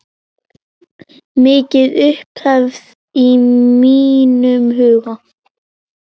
Mikil upphefð í mínum huga.